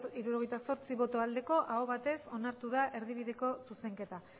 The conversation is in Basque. hirurogeita zortzi bai aho batez onartu da erdibideko zuzenketa